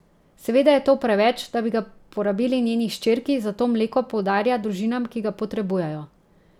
Seveda je to preveč, da bi ga porabili njeni hčerki, zato mleko podarja družinam, ki ga potrebujejo.